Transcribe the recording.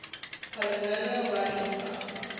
polynomial running time